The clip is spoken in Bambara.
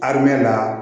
A bɛ la